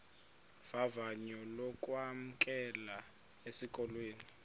vavanyo lokwamkelwa esikolweni